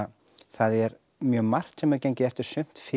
það er mjög margt sem hefur gengið eftir sumt fyrr